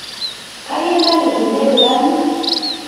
Kayie narip kulie kilani.